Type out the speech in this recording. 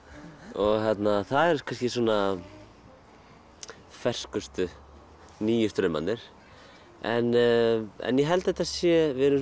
og það er kannski svona ferskustu nýju straumarnir en en ég held að þetta sé við erum